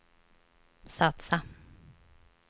satsa